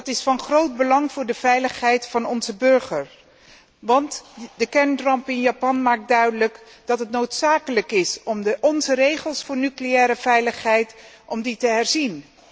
Dat is van groot belang voor de veiligheid van onze burgers, want de kernramp in Japan maakt duidelijk dat het noodzakelijk is om onze regels voor nucleaire veiligheid te herzien.